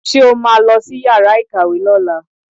Ṣe ó máa lọ sí yàrá ìkàwé lọ́la?